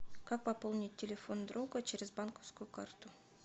как пополнить телефон друга через банковскую карту